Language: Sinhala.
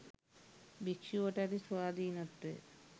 භික්‍ෂුවට ඇති ස්වාධීනත්වය